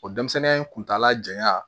O denmisɛnninya in kuntala janya